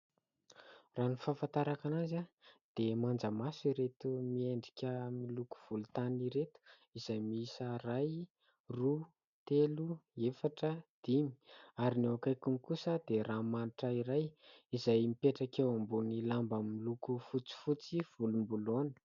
Raha ny fahafantarako anazy a dia manjamaso ireto miendrika miloko volontany ireto izay miisa : iray, roa, telo, efatra, dimy ary ny eo akaikiny kosa dia ranomanitra iray izay mipetraka eo ambonin'ny lamba miloko fotsifotsy volomboloina.